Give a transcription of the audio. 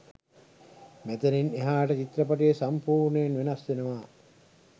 මෙතනින් එහාට චිත්‍රපටිය සම්පූර්ණයෙන් වෙනස් වෙනවා.